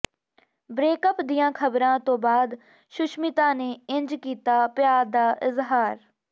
breakup ਦੀਆਂ ਖਬਰਾਂ ਤੋਂ ਬਾਅਦ ਸੁਸ਼ਮਿਤਾ ਨੇ ਇੰਝ ਕੀਤਾ ਪਿਆਰ ਦਾ ਇਜ਼ਹਾਰ